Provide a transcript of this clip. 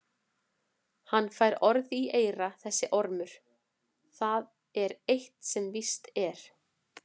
Hann fær orð í eyra þessi ormur, það er eitt sem víst er.